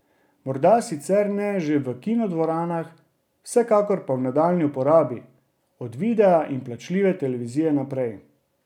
Morda sicer ne že v kinodvoranah, vsekakor pa v nadaljnji uporabi, od videa in plačljive televizije naprej.